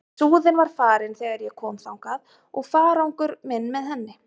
En Súðin var farin þegar ég kom þangað og farangur minn með henni.